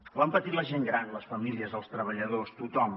ho han patit la gent gran les famílies els treballadors tothom